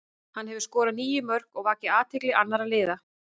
Hann hefur skorað níu mörk og vakið athygli annara liða.